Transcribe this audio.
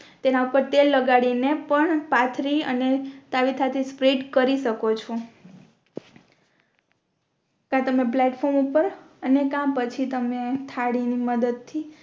તેના ઉપર તેલ લગાડીને પણ પથરી અને તાવેથા થી સ્પ્રેડ કરી શકો છે ક તમે પ્લૅટફૉર્મ ઉપર અને કા પછી તમે થાળી ની મદદ થી